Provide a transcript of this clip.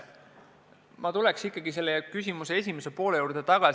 Ma tuleks kõigepealt küsimuse esimese poole juurde.